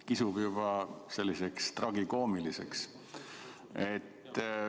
Kisub juba tragikoomiliseks.